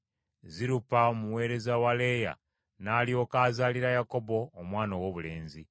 Zirupa omuweereza wa Leeya n’alyoka azaalira Yakobo omwana owoobulenzi;